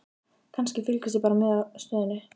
Kannski, fylgist ég bara með stöðunni?